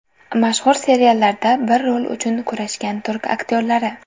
Mashhur seriallarda bir rol uchun kurashgan turk aktyorlari .